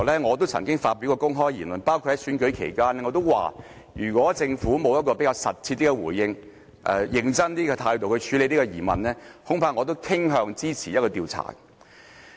我曾經發表公開言論，包括在選舉期間，我說如果政府沒有切實的回應和較認真的態度處理這疑問，恐怕我也傾向支持展開調查。